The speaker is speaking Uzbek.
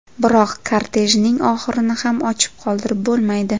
Biroq kortejning oxirini ham ochiq qoldirib bo‘lmaydi.